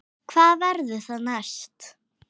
Hvað verður það næst?